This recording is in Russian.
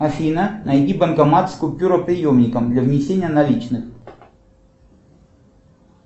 афина найди банкомат с купюроприемником для внесения наличных